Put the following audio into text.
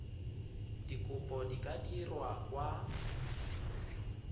dikopo di ka dirwa kwa